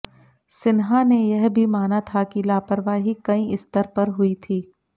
सिन्हा ने यह भी माना था कि लापरवाही कई स्तर पर हुई थी